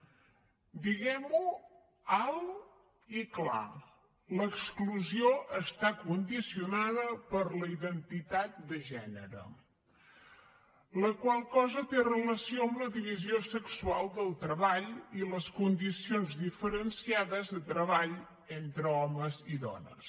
diguem ho alt i clar l’exclusió està condicionada per la identitat de gènere la qual cosa té relació amb la divisió sexual del treball i les condicions diferenciades de treball entre homes i dones